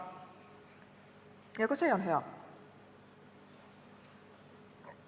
Ja ka see on hea.